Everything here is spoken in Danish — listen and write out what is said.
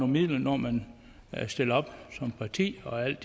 midler når man stiller op som parti alt